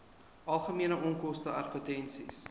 algemene onkoste advertensies